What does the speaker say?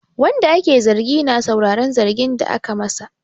Wanda ake zargi na sauraran zargin da ake masa.